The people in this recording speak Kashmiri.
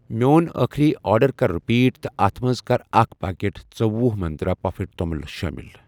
میٚون أٔخری آرڈر کر رِپیٖٹ تہٕ اتھ مَنٛز کراکھ پاکٮ۪ٹ ژُوۄہُ منٛترٛا پَفڈ توٚمُل شٲمِل۔